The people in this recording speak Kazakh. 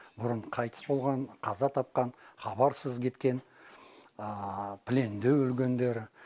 бұрын қайтыс болған қаза тапқан хабарсыз кеткен пленде өлгендер